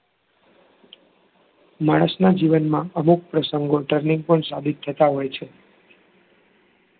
માણસનાં જીવનમાં અમુક પ્રસંગો turning point સાબિત થતાં હોય છે